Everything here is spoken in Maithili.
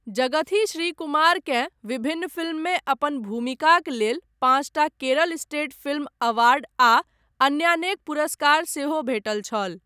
जगथी श्रीकुमारकेँ विभिन्न फ़िल्ममे अपन भूमिकाक लेल पाँचटा केरल स्टेट फिल्म अवार्ड आ अन्यानेक पुरस्कार सेहो भेटल छल।